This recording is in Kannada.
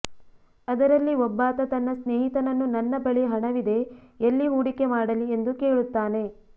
ಅದರಲ್ಲಿ ಒಬ್ಬಾತ ತನ್ನ ಸ್ನೇಹಿತನನ್ನು ನನ್ನ ಬಳಿ ಹಣವಿದೆ ಎಲ್ಲಿ ಹೂಡಿಕೆ ಮಾಡಲಿ ಎಂದು ಕೇಳುತ್ತಾನೆ